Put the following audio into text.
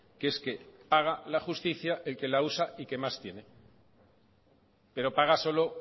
que es que paga la justicia el que la usa y que más tiene pero paga solo